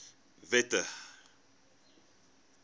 wette